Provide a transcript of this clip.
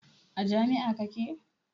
A jami'a kake?